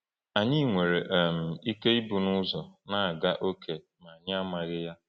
Anyị nwere um ike ịbụ n’ụzọ na-aga ókè ma anyị amaghị ya.